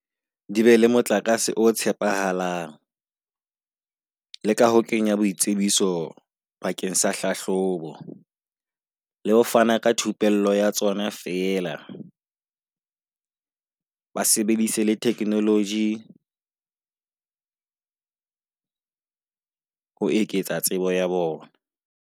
Di be le motlakase o tshepahalang. Le ka ho kenya boitsebiso bakeng sa hlahlobo le ho fana ka thupello ya tsona fela ba sebedise le theknoloji ho eketsa tsebo ya bona.